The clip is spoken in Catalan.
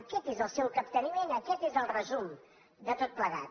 aquest és el seu capteniment aquest és el resum de tot plegat